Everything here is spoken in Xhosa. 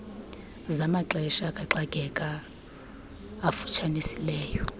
zamaxesha kaxakeka afutshanisileyo